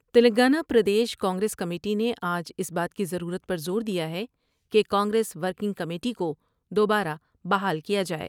Telangana Pradesh Congress committee نے آج اس بات کی ضرورت پر زور دیا ہے کہ کانگریس ورکنگ کمیٹی کو دوبارہ بحال کیا جاۓ ۔